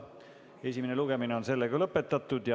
Esimene lugemine on lõpetatud.